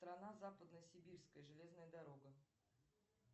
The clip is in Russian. страна западно сибирская железная дорога